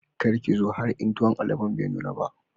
Kada ki zo in har tuwon alobon be nuna ba